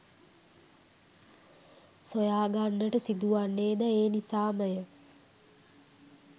සොයාගන්නට සිදුවන්නේ ද ඒ නිසාම ය.